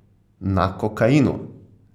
Na kokainu.